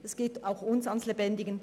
Es geht auch für uns an die Substanz.